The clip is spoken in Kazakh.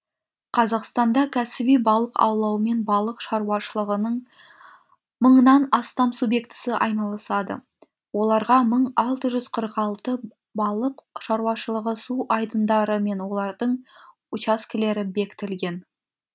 қазақстанда кәсіби балық аулаумен балық шаруашылығының мыңнан астам субъектісі айналысады оларға мың алты жүз қырық алты балық шаруашылығы су айдындары мен олардың учаскелері бекітілген